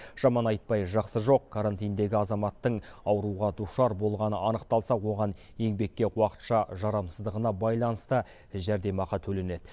жаман айтпай жақсы жоқ карантиндегі азаматтың ауруға душар болғаны анықталса оған еңбекке уақытша жарамсыздығына байланысты жәрдемақы төленеді